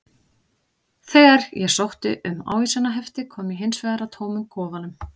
Þegar ég sótti um ávísanahefti kom ég hins vegar að tómum kofanum.